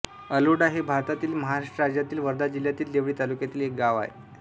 अलोडा हे भारतातील महाराष्ट्र राज्यातील वर्धा जिल्ह्यातील देवळी तालुक्यातील एक गाव आहे